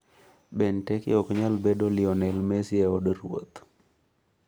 Benteke ok nyal bedo 'Lionel Messi' od ruoth